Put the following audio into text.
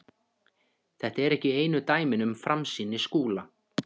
Þetta eru ekki einu dæmin um framsýni Skúla.